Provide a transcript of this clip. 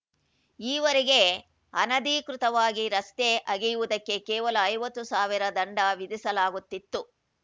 ಈವರೆಗೆ ಅನಧಿಕೃತವಾಗಿ ರಸ್ತೆ ಅಗೆಯುವುದಕ್ಕೆ ಕೇವಲ ಐವತ್ತು ಸಾವಿರ ದಂಡ ವಿಧಿಸಲಾಗುತಿತ್ತು